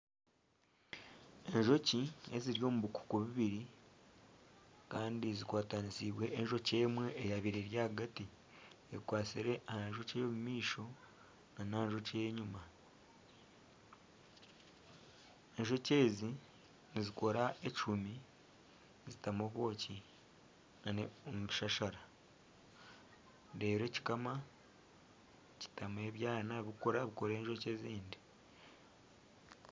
Enjoki eziri omu bukuku bubiri kandi zikwatanisiibwe enjoki emwe eyabiire eri ahagati. Ekwatsire aha njoki ey'omu maisho n'aha njoki ey'enyima. Enjoki ezi nizikora ekihumi zitamu obwoki omu bishashara reero ekikama kitamu ebyana bikura bikura enjoki ezindi.